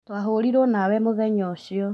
Twahũrirũo nawe mũthenya ũcĩo